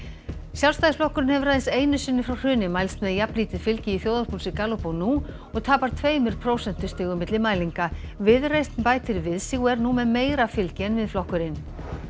Sjálfstæðisflokkurinn hefur aðeins einu sinni frá hruni mælst með jafnlítið fylgi í þjóðarpúlsi Gallup og nú og tapar tveimur prósentustigum milli mælinga viðreisn bætir við sig og er nú með meira fylgi en Miðflokkurinn